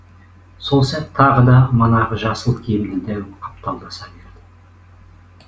сол сәт тағы да манағы жасыл киімді дәу қапталдаса берді